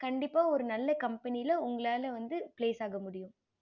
கண்டிப்பா ஒரு நல்ல company வந்து உங்களால place ஆகா முடியும்